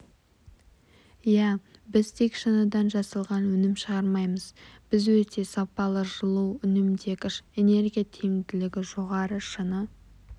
иә біз тек шыныдан жасалған өнім шығармаймыз біз өте сапалы жылу үнемдегіш энергия тиімділігі жоғары шыны